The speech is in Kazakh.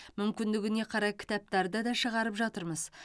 мүмкіндігіне қарай кітаптарды да шығарып жатырмыз